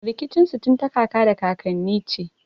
Rikicin su tun ta kaka da kakanni ce.